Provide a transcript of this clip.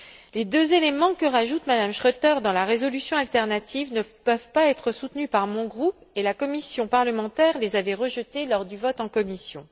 Les deux éléments que rajoute Mme Schroedter dans la résolution alternative ne peuvent pas être soutenus par mon groupe et la commission parlementaire les avait rejetés lors du vote en commission.